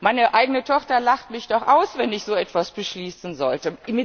Meine eigene Tochter lacht mich doch aus, wenn ich so etwas beschließen sollte!